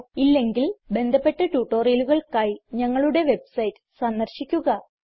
ഇല്ലെങ്കിൽ ബന്ധപ്പെട്ട ട്യൂട്ടോറിയലുകൾക്കായി ഞങ്ങളുടെ വെബ്സൈറ്റ് സന്ദർശിക്കുക